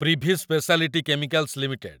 Privi speciality chemicals limited